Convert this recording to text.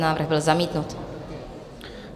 Návrh byl zamítnut.